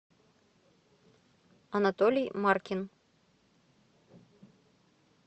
анатолий маркин